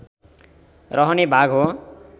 रहने भाग हो